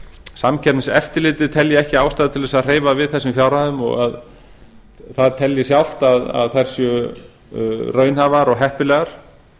samkeppniseftirlitið telji ekki ástæðu til að hreyfa við þessum fjárhæðum og það telji sjálft að þær séu raunhæfar og heppilegar